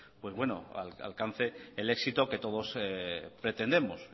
alcance el éxito que todos pretendemos